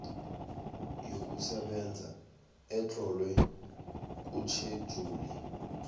yokusebenza etlolwe kutjhejuli